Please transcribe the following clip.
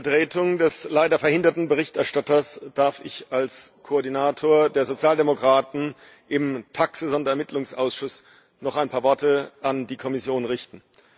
In Vertretung des leider verhinderten Berichterstatters darf ich als Koordinator der Sozialdemokraten im TAXE Sonderermittlungsausschuss noch ein paar Worte an die Kommission richten.